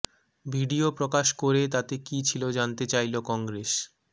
video প্রকাশ করে তাতে কি ছিল জানতে চাইল কংগ্রেস